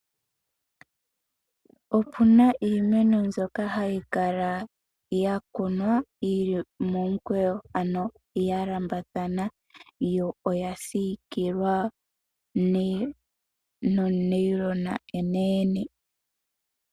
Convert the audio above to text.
Opu na iimeno mbyoka hayi kala ya kunwa yi li momukweyo, ano ya lambathana yo oya siikilwa nothayila onene.